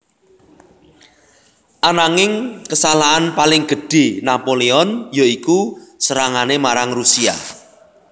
Ananging kesalahan paling gedhé Napoleon ya iku serangané marang Rusia